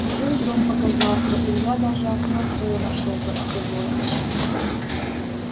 уже и дом показался илья даже окно своё нашёл торцевое